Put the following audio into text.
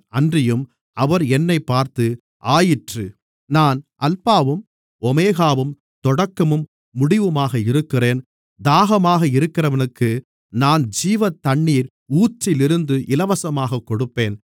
அன்றியும் அவர் என்னைப் பார்த்து ஆயிற்று நான் அல்பாவும் ஓமெகாவும் தொடக்கமும் முடிவுமாக இருக்கிறேன் தாகமாக இருக்கிறவனுக்கு நான் ஜீவத்தண்ணீர் ஊற்றிலிருந்து இலவசமாகக் கொடுப்பேன்